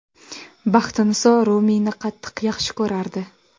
Baxtiniso Rumiyni qattiq yaxshi ko‘rardi.